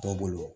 Dɔw bolo